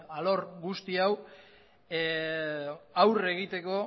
arlo guzti hau aurre egiteko